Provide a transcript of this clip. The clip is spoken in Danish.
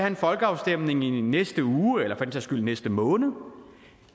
en folkeafstemning i næste uge eller for den sags skyld næste måned